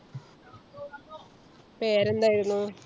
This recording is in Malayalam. പേരെന്തായിരുന്നു?